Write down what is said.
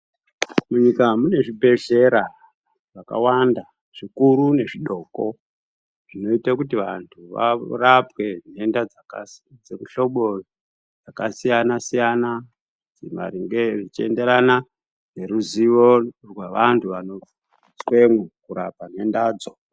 Munyika mune zvibhezhera zvakawanda, zvikuru nezvidoko, zvinoite kuti vantu varapwe nhenda dzakasi dzemihlobo yakasiyana-siyana, maringe zvichienderana neruzivo rwevanhu vanoiswemwo kurapa nhendadzo.